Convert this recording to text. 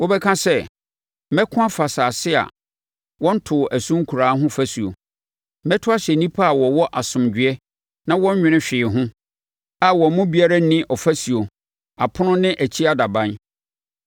Wobɛka sɛ, “Mɛko afa asase a wɔntoo ɛso nkuraa ho fasuo. Mɛto ahyɛ nnipa a wɔwɔ asomdwoeɛ na wɔnnwene hwee ho, a wɔn mu biara nni ɔfasuo, apono ne akyi adaban.